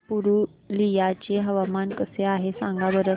पुरुलिया चे हवामान कसे आहे सांगा बरं